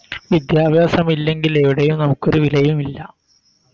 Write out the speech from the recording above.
വിദ്യാഭ്യാസമില്ലെങ്കില് എവിടെയും നമുക്കൊരു വിലയുമില്ല